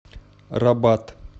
рабат